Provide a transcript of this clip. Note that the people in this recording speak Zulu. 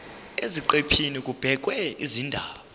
eziqephini kubhekwe izindaba